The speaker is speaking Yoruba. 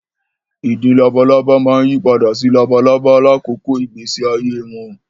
Ìdin labalábá máa yí padà sí labalábá lákòókò ìgbésí ayé wọn